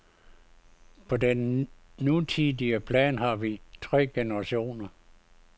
På den nutidige plan har vi tre generationer.